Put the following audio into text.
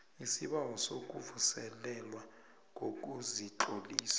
isibawo sokuvuselelwa kokuzitlolisa